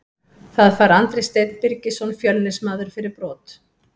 Það fær Andri Steinn Birgisson Fjölnismaður fyrir brot.